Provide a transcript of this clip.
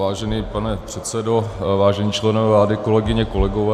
Vážený pane předsedo, vážení členové vlády, kolegyně, kolegové...